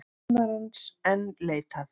Kennarans enn leitað